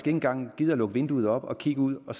engang gider at lukke vinduet op og kigge ud og